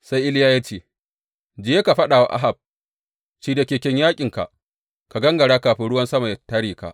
Sai Iliya ya ce, Je ka faɗa wa Ahab, Shirya keken yaƙinka, ka gangara kafin ruwan sama yă tare ka.’